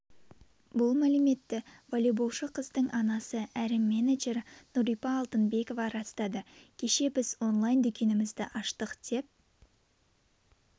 бұл мәліметті волейболшы қыздың анасы әрі менеджері нүрипа алтынбекова растады кеше біз онлайн дүкенімізді аштық деп